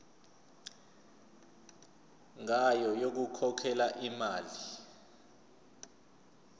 ngayo yokukhokhela imali